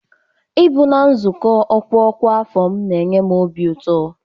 Ịbụ na nzukọ ọkwa ọkwa afọ m na-eme m obi ụtọ